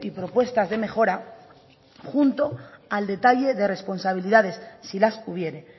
propuestas de mejora junto al detalle de responsabilidades si las hubiere